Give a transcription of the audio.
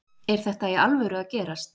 Er þetta í alvöru að gerast?